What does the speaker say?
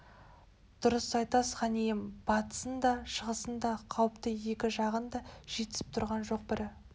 дұрыс айтасыз хан ием батысың да шығысың да қауіпті екі жағың да жетісіп түрған жоқ бірі